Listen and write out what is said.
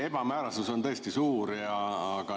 Ebamäärasus on tõesti suur.